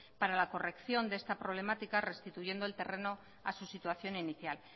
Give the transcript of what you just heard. para la corrección de esta problemática restituyendo el terreno a su situación inicial